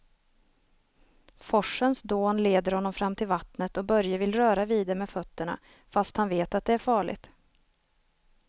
Forsens dån leder honom fram till vattnet och Börje vill röra vid det med fötterna, fast han vet att det är farligt.